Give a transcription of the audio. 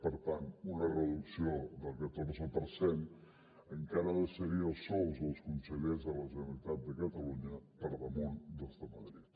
per tant una reducció del catorze per cent encara deixaria els sous dels consellers de la generalitat de catalunya per damunt dels de madrid